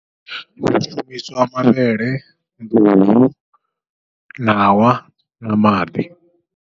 Hu shumiswa mavhele, nḓuhu, ṋawa, na maḓi.